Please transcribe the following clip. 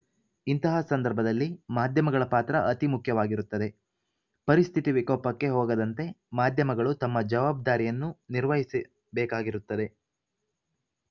ಇಂತಹ ಸಂದರ್ಭದಲ್ಲಿ ಮಾಧ್ಯಮಗಳ ಪಾತ್ರ ಅತಿ ಮುಖ್ಯವಾಗಿರುತ್ತದೆ ಪರಿಸ್ಥಿತಿ ವಿಕೋಪಕ್ಕೆ ಹೋಗದಂತೆ ಮಾಧ್ಯಮಗಳು ತಮ್ಮ ಜವಾಬ್ದಾರಿಯನ್ನು ನಿರ್ವಹಿಸಬೇಕಾಗಿರುತ್ತದೆ